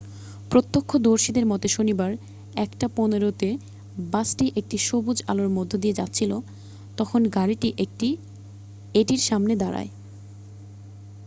প্রত্যক্ষদর্শীদের মতে শনিবার 1:15 তে বাসটি একটি সবুজ আলোর মধ্যে দিয়ে যাচ্ছিল তখন গাড়িটি এটির সামনে দাঁড়ায়